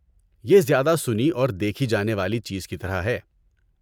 یہ زیادہ سنی اور دیکھی جانے والی چیز کی طرح ہے۔